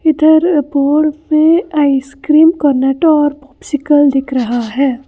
इधर बोर्ड पे ice cream Cornetto और पॉपसिकल दिख रहा है।